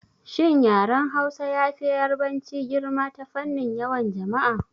Shin yaren Hausa yafi Yarabanci girma ta fannin yawan jama'a?